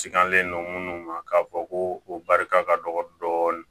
Sigalen don munnu ma k'a fɔ ko o barika ka dɔgɔ dɔɔnin